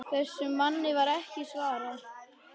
Þessum manni var ekki svarað.